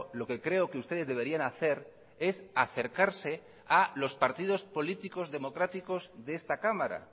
lo que creo que ustedes deberían hacer es acercarse a los partidos políticos democráticos de esta cámara